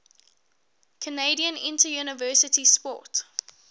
canadian interuniversity sport